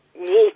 જી જી જરૂર